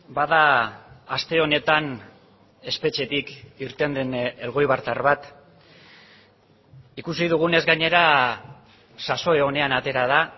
bada aste honetan espetxetik irten den elgoibartar bat ikusi dugunez gainera sasoi onean atera da